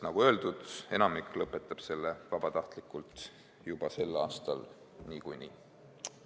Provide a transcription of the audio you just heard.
Nagu öeldud, enamik lõpetab selle vabatahtlikult juba sel aastal niikuinii.